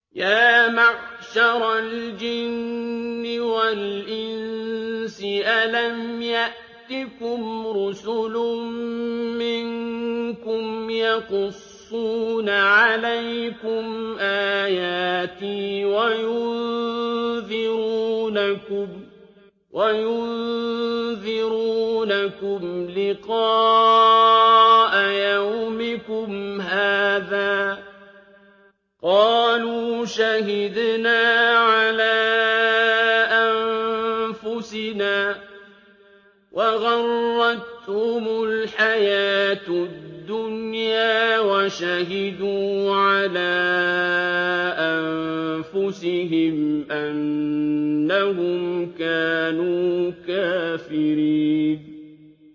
يَا مَعْشَرَ الْجِنِّ وَالْإِنسِ أَلَمْ يَأْتِكُمْ رُسُلٌ مِّنكُمْ يَقُصُّونَ عَلَيْكُمْ آيَاتِي وَيُنذِرُونَكُمْ لِقَاءَ يَوْمِكُمْ هَٰذَا ۚ قَالُوا شَهِدْنَا عَلَىٰ أَنفُسِنَا ۖ وَغَرَّتْهُمُ الْحَيَاةُ الدُّنْيَا وَشَهِدُوا عَلَىٰ أَنفُسِهِمْ أَنَّهُمْ كَانُوا كَافِرِينَ